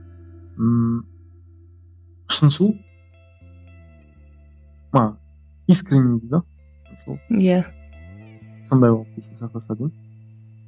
ммм шыншыл мана искренный дейді ғой сол иә сондай қылып есте сақтаса деймін